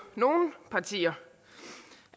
nogle partier